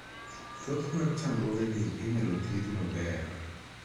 Thoth mag chandruogegi inyal thiedhi maber.